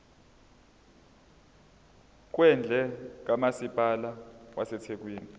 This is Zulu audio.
kwendle kamasipala wasethekwini